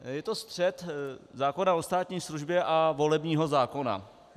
Je to střet zákona o státní službě a volebního zákona.